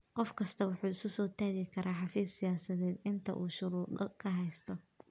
Qof kastaa wuxuu isu soo taagi karaa xafiis siyaasadeed inta uu shuruudo ka haysto.